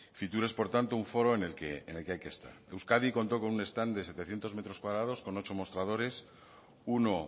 fitur es por tanto un foro en el que hay que estar euskadi contó con un stand de setecientos metros cuadrados con ocho mostradores uno